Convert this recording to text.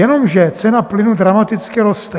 Jenomže cena plynu dramaticky roste.